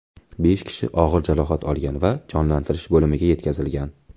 Besh kishi og‘ir jarohat olgan va jonlantirish bo‘limiga yetkazilgan.